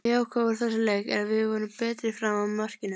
Það jákvæða úr þessum leik er að við vorum betri fram að markinu.